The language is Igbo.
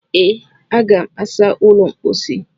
ee, Aga m asa ụlọ mposi